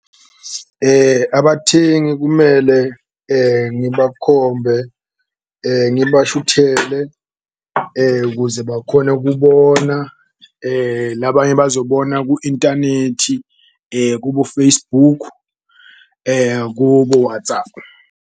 Abathengi kumele ngibakhombe, ngibashuthele ukuze bakhone ukubona labanye bazobona ku-intanethi, kubo-Facebook, kubo-Whatsapp,